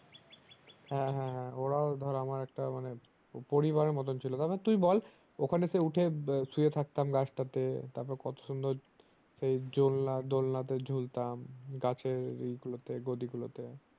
হ্যাঁ হ্যাঁ হ্যাঁ ওরাও ধর আমার একটা মানে পরিবারের মতন ছিল টু তারপর তুই বল দোকানে সেই উঠে শুয়ে থাকতাম গাছটাতে তারপর কত সুন্দর সেই জোলনা দোলনা তে ঝুলতাম গাছের ই গুলোতে গদি গুলোতে